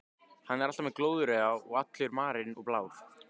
Hann er alltaf með glóðarauga og allur marinn og blár.